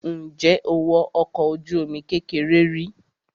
Ǹjẹ́ o wọ ọkọ̀ ojú-omi kékeré rí?